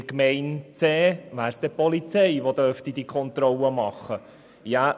In Gemeinde C wäre es die Polizei, die diese Kontrollen durchführen dürfte.